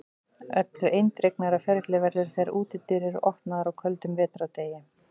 Öllu eindregnara ferli verður þegar útidyr eru opnaðar á köldum vetrardegi.